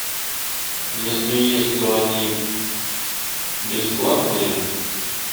если есть то они бесплатные